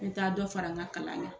N bɛ t'a dɔ fara n ka kalan kan